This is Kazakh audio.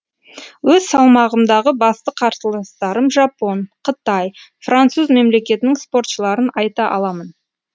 өз салмағымдағы басты қарсыластарым жапон қытай француз мемлекетінің спортшыларын айта аламын